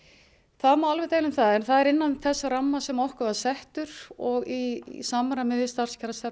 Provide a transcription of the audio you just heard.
það má alveg deila um það en það er innan þess ramma sem okkur var settur og í samræmi við starfskjarastefnu